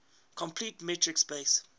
complete metric space